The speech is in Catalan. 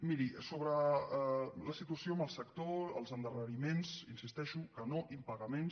miri sobre la situació en el sector els endarreriments hi insisteixo que no impagaments